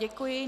Děkuji.